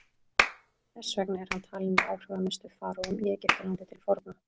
þess vegna er hann talinn með áhrifamestu faraóum í egyptalandi til forna